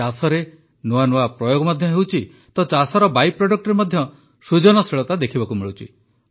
ଚାଷରେ ନୂଆ ନୂଆ ପ୍ରୟୋଗ ମଧ୍ୟ ହେଉଛି ତ ଚାଷର ବାଇ ପ୍ରଡକ୍ଟରେ ମଧ୍ୟ ସୃଜନଶୀଳତା ଦେଖିବାକୁ ମିଳୁଛି